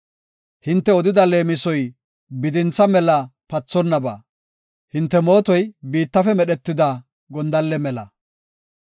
Hinte odida leemisoy bidintha mela pathonnaba; hinte mootoy biittafe medhetida gondalle mela.